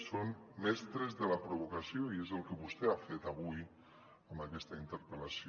són mestres de la provocació i és el que vostè ha fet avui amb aquesta interpel·lació